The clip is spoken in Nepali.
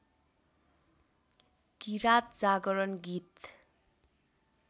किराँत जागरण गीत